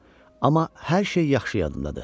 Amma hər şey yaxşı yadımdadır.